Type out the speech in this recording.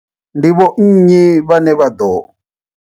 Ndi vho nnyi vhane vha ḓo.